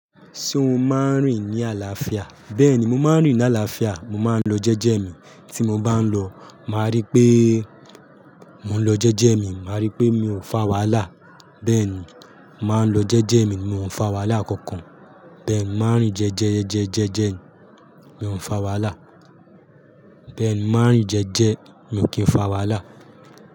Ṣé o máa ń rìn ní àlàáfíà? Bẹ́ẹ̀ni, mo máa ń rìn ní àlàáfíà, mo máa ń lọ jẹ́jẹ́ mi. Tí mo bá ń lọ, màá rí pé mo ń lọ jẹ́jẹ́ mi, màá rí pé mi ò fà wàhálà. Bẹ́ẹ̀ ni, màá lọ jẹ́jẹ́ mi, mi ò ń fà wàhálà kankan. Bẹ́ẹ̀ ni, màá ń rìn jẹ́jẹ́jẹ́jẹ́jẹ́, mi ò ń fà wàhálà. Bẹ́ẹ̀ ni, màá ń rìn jẹ́jẹ́, mi ò kí ń fà wàhálà.